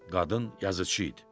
qadın yazıçı idi.